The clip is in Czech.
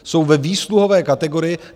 Jsou ve výsluhové kategorii.